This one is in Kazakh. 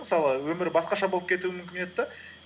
мысалы өмір басқаша болып кетуі мүмкін еді де